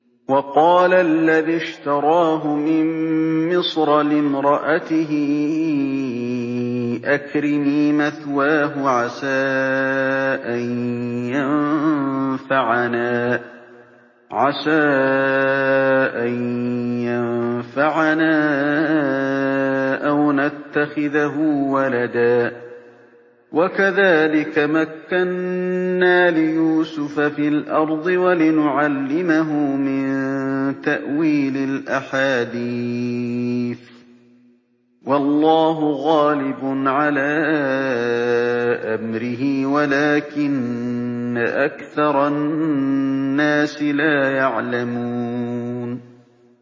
وَقَالَ الَّذِي اشْتَرَاهُ مِن مِّصْرَ لِامْرَأَتِهِ أَكْرِمِي مَثْوَاهُ عَسَىٰ أَن يَنفَعَنَا أَوْ نَتَّخِذَهُ وَلَدًا ۚ وَكَذَٰلِكَ مَكَّنَّا لِيُوسُفَ فِي الْأَرْضِ وَلِنُعَلِّمَهُ مِن تَأْوِيلِ الْأَحَادِيثِ ۚ وَاللَّهُ غَالِبٌ عَلَىٰ أَمْرِهِ وَلَٰكِنَّ أَكْثَرَ النَّاسِ لَا يَعْلَمُونَ